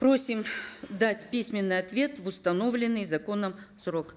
просим дать письменный ответ в установленный законом срок